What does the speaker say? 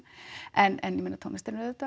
en ég meina tónlistin er